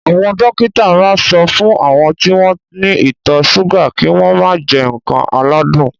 Àwọn dókítà ma ń sọ fún àwọn tí wọ́n ní ìtọ̀ súgà kí wọ́n mà jẹ ǹkan aládùn